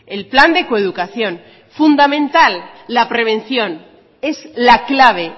el plan de coeducación fundamental la prevención es la clave